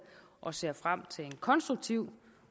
og ser frem til en konstruktiv